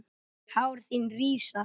Hár þín rísa.